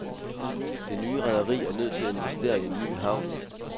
Det nye rederi er nødt til at investere i en ny havn.